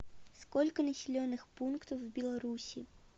сколько населенных пунктов в беларуси